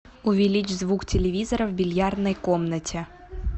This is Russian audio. увеличь звук телевизора в бильярдной комнате